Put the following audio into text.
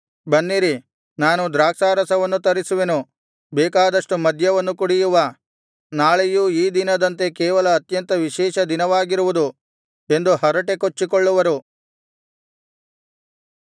ಬನ್ನಿರಿ ನಾನು ದ್ರಾಕ್ಷಾರಸವನ್ನು ತರಿಸುವೆನು ಬೇಕಾದಷ್ಟು ಮದ್ಯವನ್ನು ಕುಡಿಯುವ ನಾಳೆಯೂ ಈ ದಿನದಂತೆ ಕೇವಲ ಅತ್ಯಂತ ವಿಶೇಷ ದಿನವಾಗಿರುವುದು ಎಂದು ಹರಟೆ ಕೊಚ್ಚಿಕೊಳ್ಳುವರು